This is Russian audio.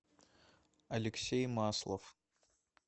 алексей маслов